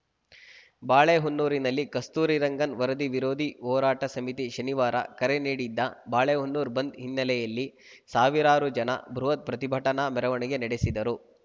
ಬಾಳೆಹೊನ್ನೂರಿನಲ್ಲಿ ಕಸ್ತೂರಿ ರಂಗನ್‌ ವರದಿ ವಿರೋಧಿ ಹೋರಾಟ ಸಮಿತಿ ಶನಿವಾರ ಕರೆ ನೀಡಿದ್ದ ಬಾಳೆಹೊನ್ನೂರು ಬಂದ್‌ ಹಿನ್ನೆಲೆಯಲ್ಲಿ ಸಾವಿರಾರು ಜನ ಬೃಹತ್‌ ಪ್ರತಿಭಟನಾ ಮೆರವಣಿಗೆ ನಡೆಸಿದರು